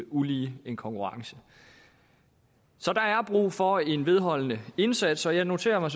ulige en konkurrence så der er brug for en vedholdende indsats og jeg noterer mig